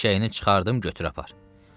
Eşşəyini çıxartdım götür apar.